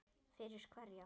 Fyrir hverja